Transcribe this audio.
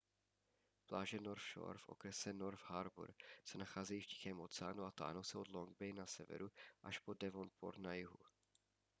pláže north shore v okrese north harbour se nacházejí v tichém oceánu a táhnou se od long bay na severu až po devonport na jihu